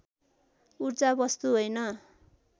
ऊर्जा वस्तु होइन